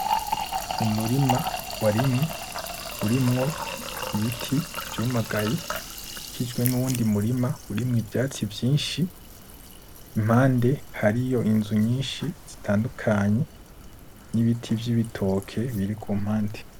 Umurima warimwe, urimwo Ibiti vyumagaye ukikijwe nuwundi murima urimwo ivyatsi vyinshi impande hariyo inzu nyinshi zitandukanye n'Ibiti vy'Ibitoke biri kumpande.